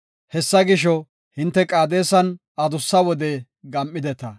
Hessa gisho, hinte Qaadesan adussa wode gam7ideta.